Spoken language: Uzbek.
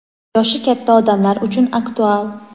yoshi katta odamlar uchun aktual.